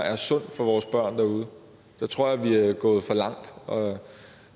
er sundt for vores børn derude der tror jeg vi er gået for langt og